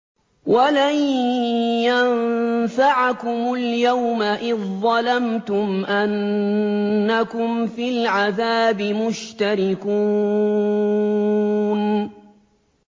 وَلَن يَنفَعَكُمُ الْيَوْمَ إِذ ظَّلَمْتُمْ أَنَّكُمْ فِي الْعَذَابِ مُشْتَرِكُونَ